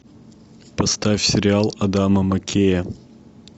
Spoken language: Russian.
поставь сериал адама маккея